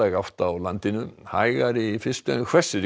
átt á landinu hægari í fyrstu en hvessir í